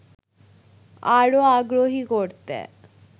আরো আগ্রহী করতে